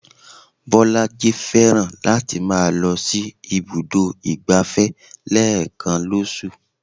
Bolaji fẹ́ràn láti máa lọ sí ibùdó ìgbáfẹ́ lẹ́ẹ̀kan lóṣù